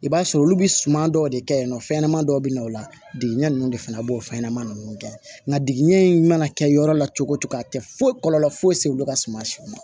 I b'a sɔrɔ olu bi suman dɔw de kɛ yen nɔ fɛnɲɛnaman dɔw be na o la degiɲɛ nunnu de fɛnɛ b'o fɛnɲɛnɛmanin nunnu kɛ nga duguɲɛ in mana kɛ yɔrɔ la cogo o cogo a tɛ foyi kɔlɔlɔ foyi se olu ka suma si ma